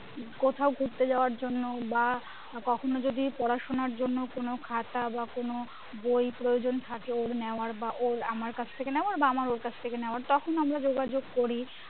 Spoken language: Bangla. কোথাও ঘুরতে যাওয়ার জন্য বা কখনো যদি পড়াশোনার জন্য কোনো খাতা বা কোনো বই প্রয়োজন থাকে ওর নেওয়ার বা ওর আমার কাছ থেকে নেওয়ার বা আমার ওর কাছে থেকে নেওয়ার তখন আমরা যোগাযোগ করি